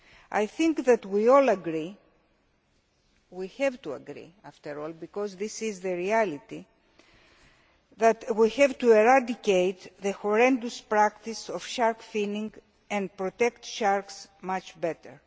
I think that we all agree we have to agree, after all, because this is the reality that we have to eradicate the horrendous practice of shark finning and protect sharks better.